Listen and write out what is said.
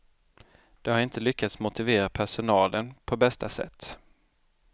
De har inte lyckats motivera personalen på bästa sätt.